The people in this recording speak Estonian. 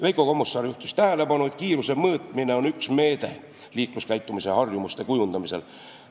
Veiko Kommusaar juhtis tähelepanu, et kiiruse mõõtmine on üks meede liikluskäitumise harjumuste kujundamisel.